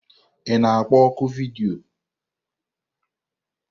Ị na-akpọ ọ́kụ vidiyo?